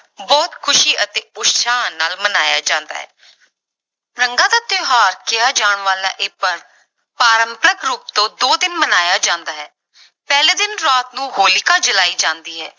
ਬਹੁਤ ਖ਼ੁਸ਼ੀ ਅਤੇ ਉਤਸ਼ਾਹ ਨਾਲ ਮਨਾਇਆ ਜਾਂਦਾ ਹੈ ਰੰਗਾਂ ਦਾ ਤਿਉਹਾਰ ਕਿਹਾ ਜਾਣਾ ਵਾਲਾ ਇਹ ਪਰਵ ਪਾਰੰਪਰਕ ਰੂਪ ਤੋਂ ਦੋ ਦਿਨ ਮਨਾਇਆ ਜਾਂਦਾ ਹੈ, ਪਹਿਲੇ ਦਿਨ ਰਾਤ ਨੂੰ ਹੋਲਿਕਾ ਜਲਾਈ ਜਾਂਦੀ ਹੈ।